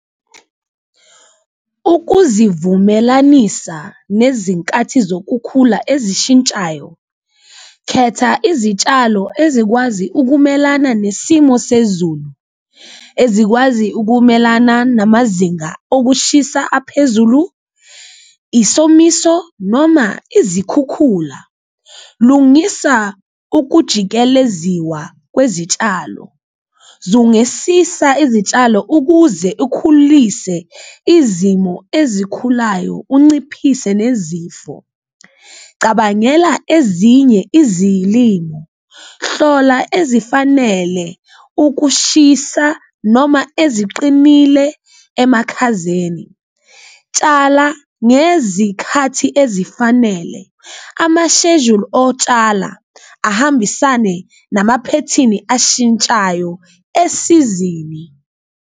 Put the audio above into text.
Ukuzivumelanisa nezinkathi zokukhula ezishintshayo, khetha izitshalo ezikwazi ukumelana nesimo sezulu ezikwazi ukumelana namazinga okushisa aphezulu, isomiso noma izikhukhula, lungisa ukujikeleziwa kwezitshalo. Zungesisa izitshalo ukuze ukhulise izimo ezikhulayo unciphise nezifo, cabangela ezinye izilimo, hlola ezifanele ukushisa noma eziqinile emakhazeni, tshala ngezikhathi ezifanele, amashejuli otshala ahambisane namaphethini ashintshayo esizini.